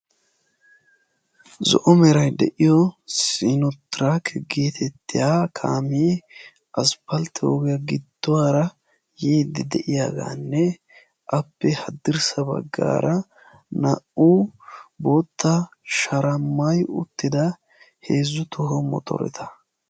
zo'o meray de'iyo siino trake getetiya kaame asppaltte ogiyaa giduwara yiide de'iyaaganne appe haddirssa baggara na"u bootta shara maayi uttida heezzu toho motoretta.